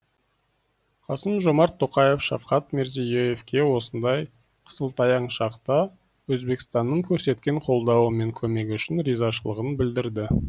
қасым жомарт тоқаев шавкат мирзие евке осындай қысылтаяң шақта өзбекстанның көрсеткен қолдауы мен көмегі үшін ризашылығын білдірді